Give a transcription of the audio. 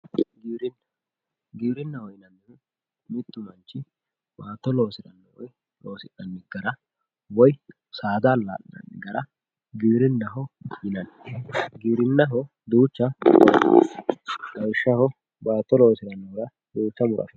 Giwirinna, giwirinaho yinannihu mitu manchi baatto loosire woyi loosi'nanni gara woyi saada alaalinanni gara giwirinaho yinanni duucha lawishshaho baatto loosi'ne.